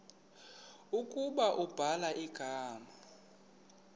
ukuba ubhala igama